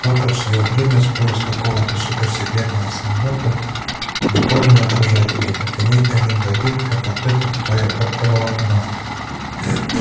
папа в своё время спёр из какого-то супер-секретного самолёта дипольные отражатели так они один в один как вот это твоё оптоволокно